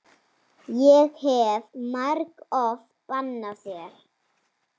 Ég hef margoft bannað þér.